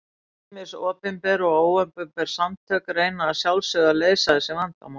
Ýmis opinber og óopinber samtök reyna að sjálfsögðu að leysa þessu vandamál.